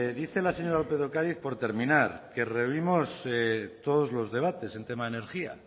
dice la señora lópez de ocariz por terminar que revivimos todos los debates en tema de energía